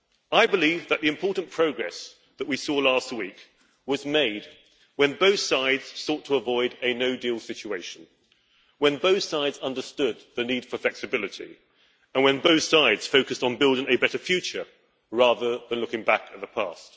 I believe that the important progress that we saw last week was made when both sides sought to avoid a no deal situation, when both sides understood the need for flexibility, and when both sides focused on building a better future rather than looking back at the past.